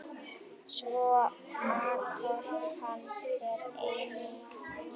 Svo atorkan er einnig hér.